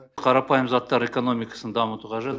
қарапайым заттар экономикасын дамыту қажет